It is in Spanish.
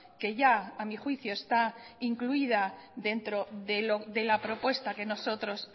que ya a mi juicio está incluida dentro de la propuesta que nosotros